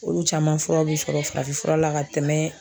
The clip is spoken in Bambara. Olu caman furaw bɛ sɔrɔ farafin fura la ka tɛmɛ